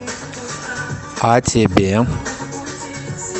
а тебе